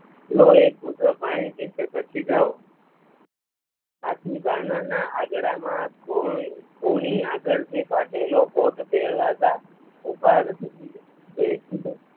લો એક ઘૂંટડો પાણી પીય ઘટકી જાવ આથી બારણાં ના આગડા માં કોની આગળ થી ફાટેલો કોટ ભેરવતા ઊભા રહી